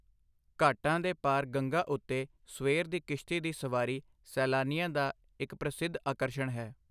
ਘਾਟਾਂ ਦੇ ਪਾਰ ਗੰਗਾ ਉੱਤੇ ਸਵੇਰ ਦੀ ਕਿਸ਼ਤੀ ਦੀ ਸਵਾਰੀ ਸੈਲਾਨੀਆਂ ਦਾ ਇੱਕ ਪ੍ਰਸਿੱਧ ਆਕਰਸ਼ਣ ਹੈ।